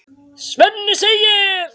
Svenni segir